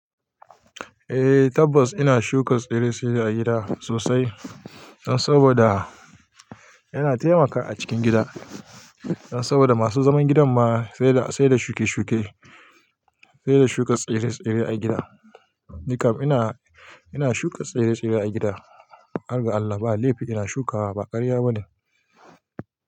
Eh tabbas ina shuka tsire-tsire a gida sosai saboda yana taimaka a cikin gida. Saboda masu zaman gidan ma sai da sai da shuke-shuke, sai da shuka tsire-tsire a gida. Nikam ina ina shuka tsire-tsire a gida, har ga Allah ba laifi ina shukawa ba ƙarya bane.